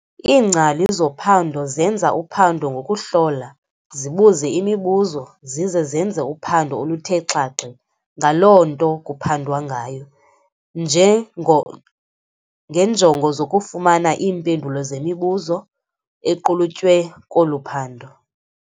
Iingcali zophando zenza uphando ngokuhlola, zibuze imibuzo, zize zenze uphando oluthe xaxe ngaloo nto kuphandwa ngayo, ngeenjongo zokufumana iimpendulo zemibuzo equlutywe kolu phando.